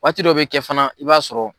Waati dɔ bɛ kɛ fana i b'a sɔrɔ.